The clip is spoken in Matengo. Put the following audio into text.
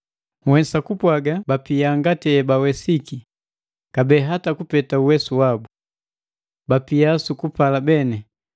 Nhwesa kupwaaga bapia ngati ebawesiki, kabee hata kupeta uwesu wabu. Bapia sukupala beni,